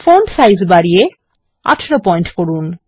font size বাড়িয়ে ১৮ point করুন